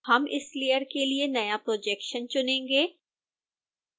हम इस लेयर के लिए नया projection चुनेंगे